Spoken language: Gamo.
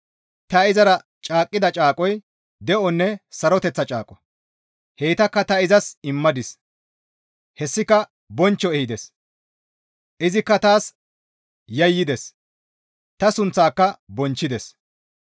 «Ta izara caaqqida caaqoy de7onne saroteththa caaqo; heytakka ta izas immadis; hessika bonchcho ehides; izikka taas yayyides; ta sunththaaka bonchchides.